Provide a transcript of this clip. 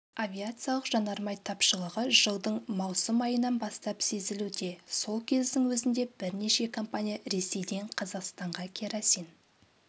авиациялық жанармай тапшылығы жылдың маусым айынан бастап сезілуде сол кездің өзінде бірнеше компания ресейден қазақстанға керосин